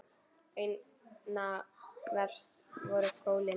Einna verst voru gólin.